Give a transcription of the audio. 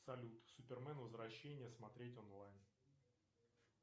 салют супермен возвращение смотреть онлайн